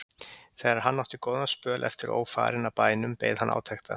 Þegar hann átti góðan spöl eftir ófarinn að bænum beið hann átekta.